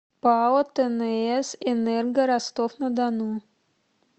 пао тнс энерго ростов на дону